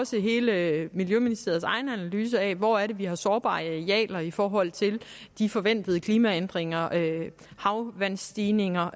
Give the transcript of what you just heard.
også hele miljøministeriets egen analyse af hvor det er vi har sårbare arealer i forhold til de forventede klimaændringer havvandsstigninger